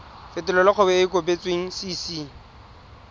fetolela kgwebo e e kopetswengcc